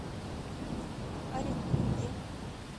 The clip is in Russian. оренбурге